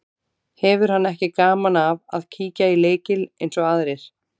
Hefur hann ekki gaman af að kíkja í lykil eins og aðrir.